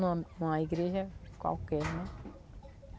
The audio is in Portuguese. em uma igreja qualquer, né?